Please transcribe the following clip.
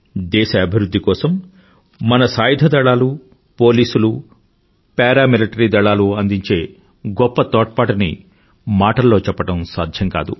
దేశ అభివృధ్ధి కోసం మన సాయుధదళాలు పోలీసులు పారా మిలిటరీ దళాలు అందించే గొప్ప తోడ్పాటుని మాటల్లో చెప్పడం సాధ్యం కాదు